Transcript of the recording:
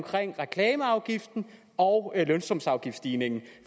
reklameafgiften og lønsumsafgiftsstigningen